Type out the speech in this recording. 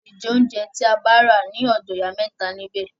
A le jẹ óunjẹ tí a bá rà ní ọ̀dọ̀ ìyá mẹ́ta nibẹ̀.